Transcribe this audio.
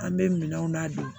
An bɛ minɛnw ladon